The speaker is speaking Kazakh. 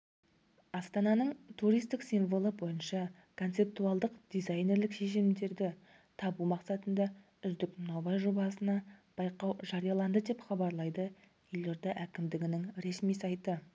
астананың туристік символы бойынша концептуалдық дизайнерлік шешімдерді табу мақсатында үздік нобай-жобасына байқау жарияланды деп хабарлайды елорда әкімдігінің ресми сайты